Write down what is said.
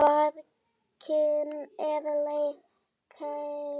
Barkinn er keila.